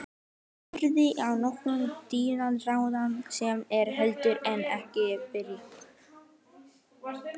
Horfir á kokkinn dimmraddaða sem er heldur en ekki þykkjuþungur.